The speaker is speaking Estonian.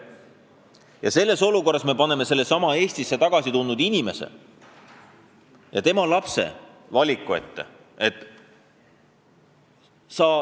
Ja nüüd me paneme sellesama Eestisse tagasi tulnud inimese ja tema lapsed valiku ette.